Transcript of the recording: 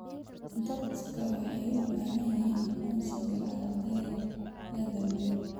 Dadku waxay u baahan yihiin aqoonsiga adeegyada guud.